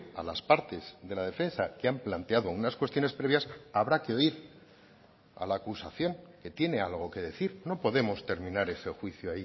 a las partes de la defensa que han planteado unas cuestiones previas habrá que oír a la acusación que tiene algo que decir no podemos terminar ese juicio